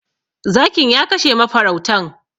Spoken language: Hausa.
Zakin ya kashe mafarautan.